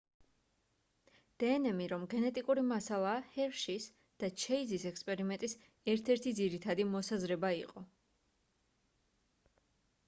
დნმ რომ გენეტიკური მასალაა ჰერშის და ჩეიზის ექსპერიმენტის ერთ-ერთი ძირითადი მოსაზრება იყო